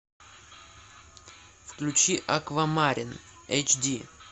включи аквамарин эйч ди